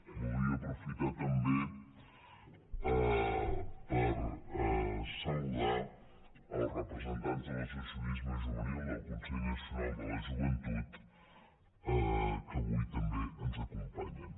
voldria aprofitar també per saludar els representants de l’associacionisme juvenil del consell nacional de la joventut que avui també ens acompanyen